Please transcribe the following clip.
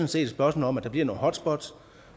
set et spørgsmål om at der bliver nogle hotspots